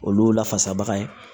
Olu la fasabaga ye